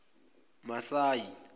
masayi